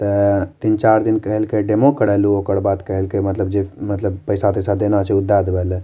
ते तीन-चार दिन कहल के डेमो करा लू ओकर बाद कहल के मतलब जे मतलब पैसा-तैसा देना छै ऊ दा देबे ले।